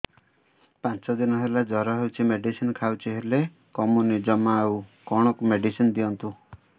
ପାଞ୍ଚ ଦିନ ହେଲା ଜର ହଉଛି ମେଡିସିନ ଖାଇଛି ହେଲେ କମୁନି ଜମା ଆଉ କଣ ମେଡ଼ିସିନ ଦିଅନ୍ତୁ